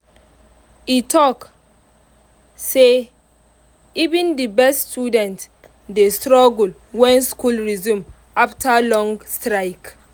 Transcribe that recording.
e talk say even the best students dey struggle when school resume after long strike.